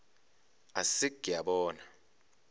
a se ke a bona